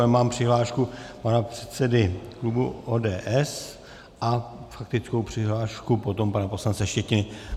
Ale mám přihlášku pana předsedy klubu ODS a faktickou přihlášku potom pana poslance Štětiny.